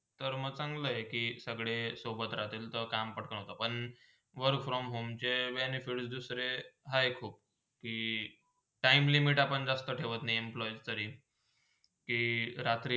तर म चांगला आहे कि सगळे सोबत राहतीलते त काम पाठवून घेतील पण work from home benefit चे benefit दुसरे हाय खूप कि time limit आपण जास्त ठेवत नाय employe तरी कि रात्री.